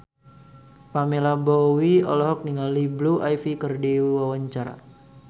Pamela Bowie olohok ningali Blue Ivy keur diwawancara